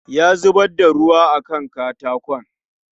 Ya zubar da ruwa a Kan katakon